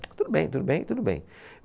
Tudo bem, tudo bem, tudo bem.